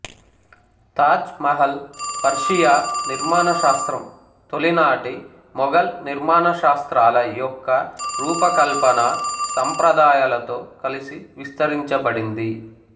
Taj Mahal Persia నిర్మాణశాస్త్రం తొలినాటి మొఘల్ నిర్మాణశాస్త్రాల యొక్క రూప కల్పనా సంప్రదాయాలతో కలసి విస్తరించబడింది